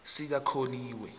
sikakholiwe